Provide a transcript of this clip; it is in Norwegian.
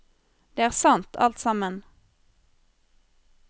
Det er sant, alt sammen.